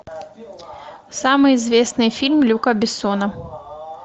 самый известный фильм люка бессона